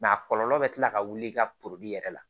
a kɔlɔlɔ bɛ kila ka wuli i ka yɛrɛ la